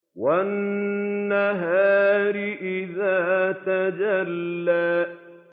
وَالنَّهَارِ إِذَا تَجَلَّىٰ